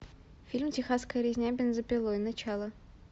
фильм техасская резня бензопилой начало